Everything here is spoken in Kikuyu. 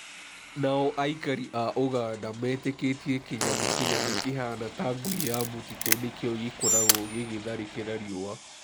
Na o aikari a Ũganda metĩkĩtie kĩnyamu kĩnene kĩhana ta ngui ya mũtitũ nĩkĩo gĩkoragwo gĩgĩtharĩkĩra riũa.